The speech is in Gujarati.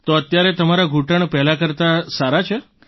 તો અત્યારે તમારા ઘૂંટણ પહેલાં કરતાં સારા છે